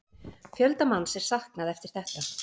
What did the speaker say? Fjölda manns er saknað eftir þetta